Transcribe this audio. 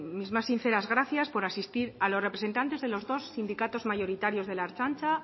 mis más sinceras gracias por asistir a los representantes de los dos sindicatos mayoritarios de la ertzaintza